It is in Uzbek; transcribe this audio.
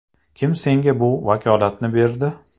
Kim senga bu vakolatni berdi?